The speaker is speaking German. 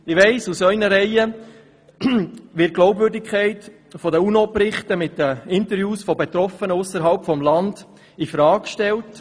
Ich weiss, aus Ihren Reihen wird die Glaubwürdigkeit der UNO-Berichte mit den Interviews von Betroffenen ausserhalb des Landes infrage gestellt.